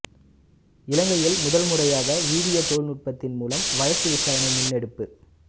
இலங்கையில் முதல் முறையாக வீடியோ தொழில்நுட்பத்தின் மூலம் வழக்கு விசாரணை முன்னெடுப்பு